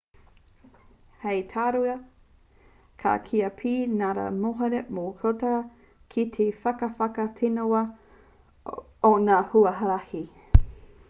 hei tauira ka kīia pea ka ara noa te motokā ki te whakawhanaketanga o ngā huarahi